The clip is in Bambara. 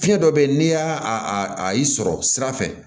Fiɲɛ dɔ bɛ yen n'i y'a a a y'i sɔrɔ sira fɛ